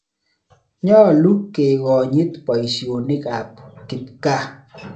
Nyalu kekonyit poisyonik ap kipkaa.